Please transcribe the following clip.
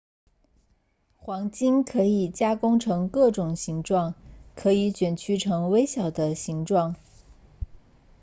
黄金可以加工成各种形状可以卷曲成微小的形状